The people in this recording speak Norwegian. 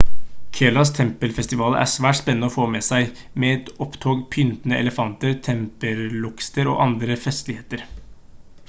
keralas tempelfestivaler er svært spennende å få med seg med et opptog av pyntede elefanter tempelorkester og andre festligheter